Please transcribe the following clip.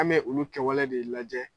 An bɛ olu kɛwale de lajɛ.